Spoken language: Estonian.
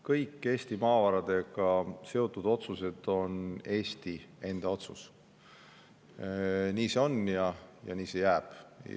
Kõik Eesti maavaradega seotud otsused Eesti ise, nii see on ja nii see jääb.